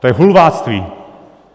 To je hulvátství!